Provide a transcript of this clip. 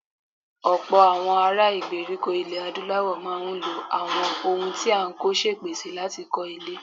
Ọ̀pọ̀ àwọn ará ìgbèríko ilẹ̀ Adúláwọ̀ máa ń lo àwọn ohun tí a kò ṣèpèsè láti kọ́ ilé.